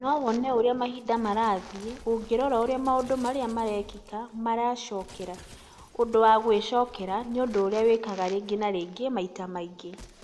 no wone ũrĩa mahinda marathiĩ Ũngĩrora ũrĩa maũndũ maria marekĩka marecokera. ũndũ wa gwĩcokera nĩ ũndũ ũria wĩkĩkaga rĩngĩ na rĩngĩ maĩta maingĩ